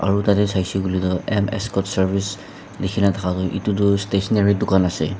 Aro tatey saishe koile tuh M Ascot Service lekhikena thaka tuh etutu stationary dukhan ase.